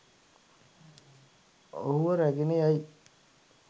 ඔහුව රැගෙන යයි